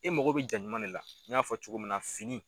E mago bɛ jaa ɲuman de la n y'a fɔ cogo min na fini